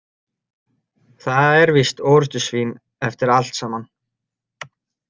Það er víst orrustusvín eftir allt saman.